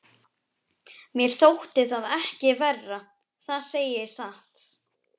Mér þótti það ekki verra, það segi ég satt.